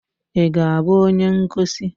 Ị ga-abụ onye ngosi?